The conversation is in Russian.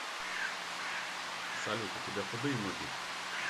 салют у тебя худые ноги